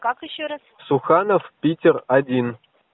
как ещё раз суханов питер один